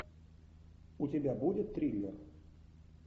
у тебя будет триллер